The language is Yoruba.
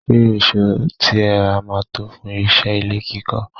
Ṣé èsó tí ẹ rà máa tó fún iṣẹ́ ilé kíkọ́?